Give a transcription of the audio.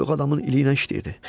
Döyük adamın ili ilə işləyirdi.